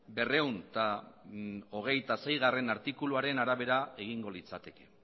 berrehun eta hogeita seigarrena artikuluaren arabera egingo litzateke